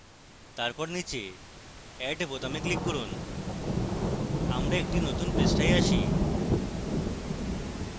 তারপর নীচে add বোতামে click করুন